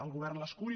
el govern l’escull